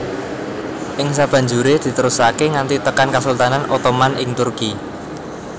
Ing sabanjuré diterusaké nganti tekan kasultanan Ottoman ing Turki